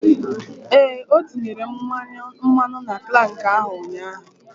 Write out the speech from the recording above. Ee, o tinyere mmanụ na krank ahụ ụnyaahụ.